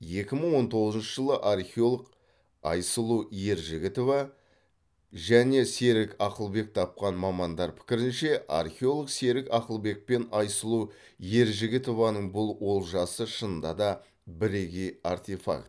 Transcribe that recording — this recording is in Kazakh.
екі мың он тоғызыншы жылы археолог айсұлу ержігітова мен серік ақылбек тапқан мамандар пікірінше археолог серік ақылбек пен айсұлу ержігітованың бұл олжасы шынында да біргей артефакт